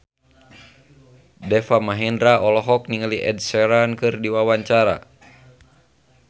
Deva Mahendra olohok ningali Ed Sheeran keur diwawancara